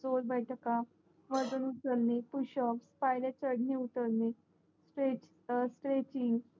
जोरबैठका वजन उचलणे पुशब पायऱ्या चढणे उतरणे स्ट्रेचिंग